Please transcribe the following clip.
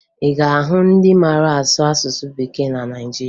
Ị ga-ahụ ndị mara asụ asụsụ Bekee na Naịjirịa